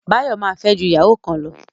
Báyọ̀ ma fẹ́ ju ìyàwó kan lọ